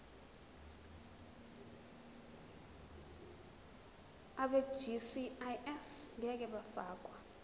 abegcis ngeke bafakwa